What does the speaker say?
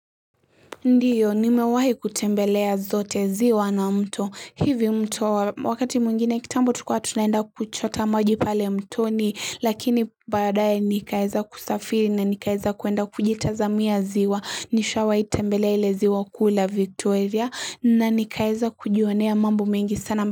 Ndiyo, nimewahi kutembelea zote ziwa na mto, hivi mto wakati mwengine kitambo tukua tunaenda kuchota maji pale mtoni lakini baadaye nikaeza kusafiri na nikaeza kuenda kujitazamia ziwa, nishawai tembelea ile ziwa kuu la Victoria na nikaeza kujionea mambo mengi sana.